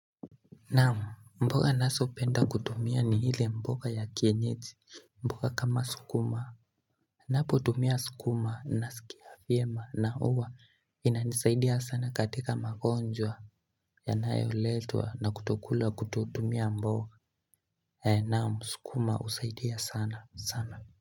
Naam, mboga ninazopenda kutumia ni ile mboga ya kienyeji, mboga kama sukuma Ninapotumia sukuma nasikia vyema na huwa inanisaidia sana katika magonjwa yanayoletwa na kutokula kutotumia mboga Naam, sukuma husaidia sana sana.